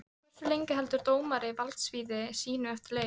Hversu lengi heldur dómari valdsviði sínu eftir leik?